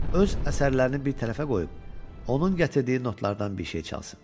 öz əsərlərini bir tərəfə qoyub, onun gətirdiyi notlardan bir şey çalsın.